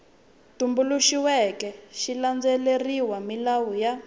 tumbuluxiweke xi landzelerile milawu ya